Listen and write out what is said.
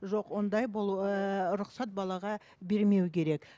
жоқ ондай болу ыыы рұқсат балаға бермеу керек